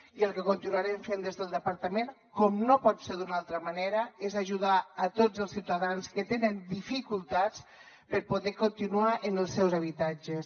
i el que continuarem fent des del departament com no pot ser d’una altra manera és ajudar a tots els ciutadans que tenen dificultats per poder continuar en els seus habitatges